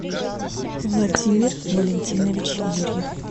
владимир валентинович юрьев